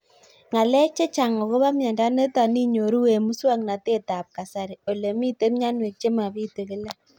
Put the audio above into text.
Ng'alek chechang' akopo miondo nitok inyoru eng' muswog'natet ab kasari ole mito mianwek che mapitu kila